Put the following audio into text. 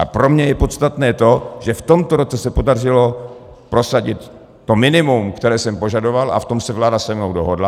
A pro mě je podstatné to, že v tomto roce se podařilo prosadit to minimum, které jsem požadoval, a v tom se vláda se mnou dohodla.